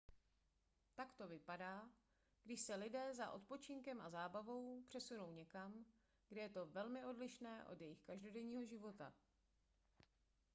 tak to vypadá když se lidé za odpočinkem a zábavou přesunou někam kde je to velmi odlišné od jejich každodenního života